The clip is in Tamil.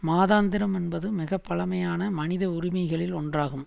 மதாந்திரம் என்பது மிக பழமையான மனிதஉரிமைகளில் ஒன்றாகும்